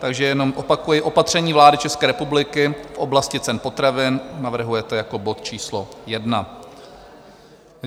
Takže jenom opakuji: Opatření vlády České republiky v oblasti cen potravin navrhujete jako bod číslo jedna.